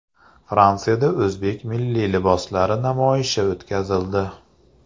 Fransiyada o‘zbek milliy liboslari namoyishi o‘tkazildi.